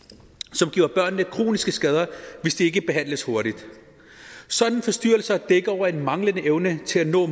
som giver børnene kroniske skader hvis de ikke behandles hurtigt sådanne forstyrrelser dækker over en manglende evne til at nå